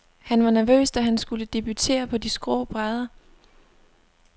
Han var nervøs, da han skulle debutere på de skrå brædder.